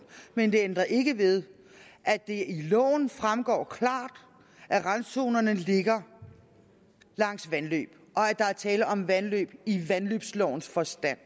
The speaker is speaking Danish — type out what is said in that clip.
men det ændrer ikke ved at det i loven fremgår klart at randzonerne ligger langs vandløb og at der er tale om vandløb i vandløbslovens forstand